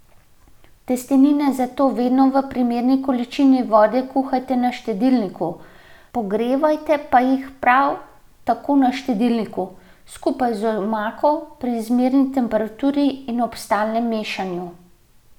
Testenine zato vedno v primerni količini vode kuhajte na štedilniku, pogrevajte pa jih prav tako na štedilniku, skupaj z omako pri zmerni temperaturi in ob stalnem mešanju.